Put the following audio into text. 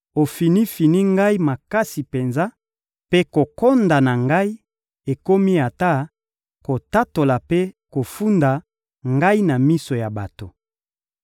ofini-fini ngai makasi penza, mpe kokonda na ngai ekomi ata kotatola mpe kofunda ngai na miso ya bato!